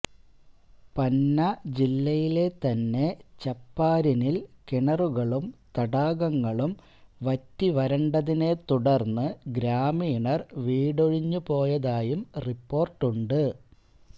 പന്ന ജില്ലയിലെതന്നെ ഛപ്പാരിനില് കിണറുകളും തടാകങ്ങളും വറ്റിവരണ്ടതിനെ തുടര്ന്ന് ഗ്രാമീണര് വീടൊഴിഞ്ഞുപോയതായും റിപ്പോര്ട്ടുണ്ട്